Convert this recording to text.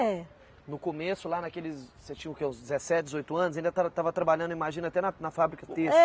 É. No começo, lá naqueles, você tinha o quê, uns dezessete, dezoito anos, ainda estava estava trabalhando, imagino até na na fábrica têxtil?